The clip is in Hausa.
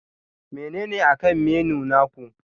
Menene akan menu naku?